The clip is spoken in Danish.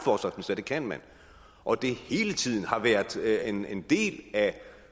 at det kan man og at det hele tiden har været en en del af